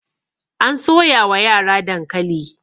an soya wa yara dankali